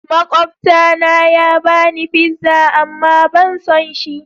Makwabta na ya bani pizza amma ban son shi.